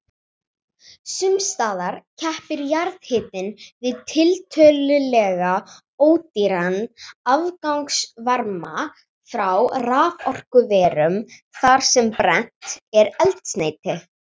Sums staðar keppir jarðhitinn við tiltölulega ódýran afgangsvarma frá raforkuverum þar sem brennt er eldsneyti.